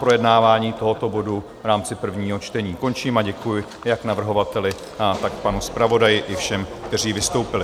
Projednávání tohoto bodu v rámci prvního čtení končím a děkuji jak navrhovateli, tak panu zpravodaji, i všem, kteří vystoupili.